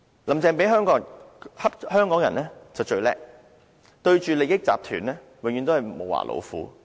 "林鄭"欺負香港人就最"叻"，對着利益集團永遠都是"無牙老虎"。